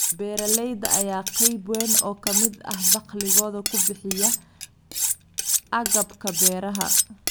Beeralayda ayaa qayb weyn oo ka mid ah dakhligooda ku bixiya agabka beeraha.